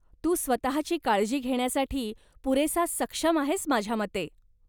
तू स्वतःची काळजी घेण्यासाठी पुरेसा सक्षम आहेस माझ्या मते.